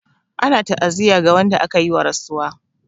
Ana ta'aziyya ga wanda aka yi wa rasuwa.